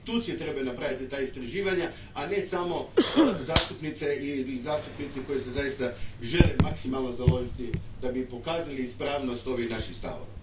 Institucije trebaju napraviti ta istraživanja, a ne samo zastupnice i zastupnici koji se žele zaista maksimalno založiti da bi pokazali ispravnost ovih naših stavova.